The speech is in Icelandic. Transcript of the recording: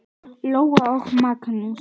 Lóa og Magnús.